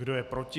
Kdo je proti?